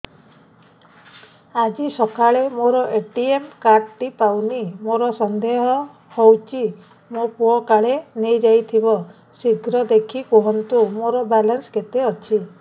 ଆଜି ସକାଳେ ମୋର ଏ.ଟି.ଏମ୍ କାର୍ଡ ଟି ପାଉନି ମୋର ସନ୍ଦେହ ହଉଚି ମୋ ପୁଅ କାଳେ ନେଇଯାଇଥିବ ଶୀଘ୍ର ଦେଖି କୁହନ୍ତୁ ମୋର ବାଲାନ୍ସ କେତେ ଅଛି